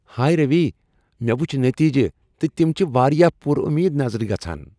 ہایہ روی، مےٚ وچھ نٔتیٖجہٕ تہٕ تم چھ واریاہ پُر اُمید نظر گژھان۔